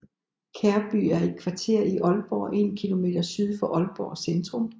Kærby er et kvarter i Aalborg en kilometer syd for Aalborg Centrum